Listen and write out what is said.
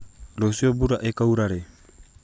rũciũ mbura ĩkaura rĩ